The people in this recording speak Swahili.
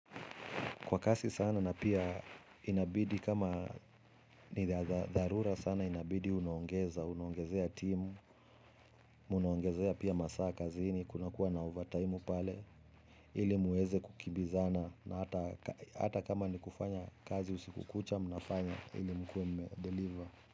Kwa kasi sana na pia inabidi kama ni za dharura sana inabidi unaongeza, unaongezea timu, unuongezea pia masaa kazini, kunakuwa na ovataimu pale, ili muweze kukimbizana na hata kama ni kufanya kazi usiku kucha, unafanya ili mkuwe mume deliver.